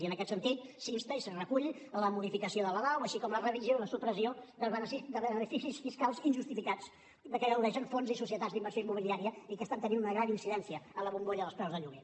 i en aquest sentit s’insta i es recull la modificació de la lau així com la revisió i la supressió de beneficis fiscals injustificats de què gaudeixen fons i societats d’inversió immobiliària i que estan tenint una gran incidència en la bombolla dels preus de lloguer